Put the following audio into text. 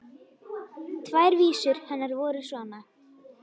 Tvær vísur hennar voru svona: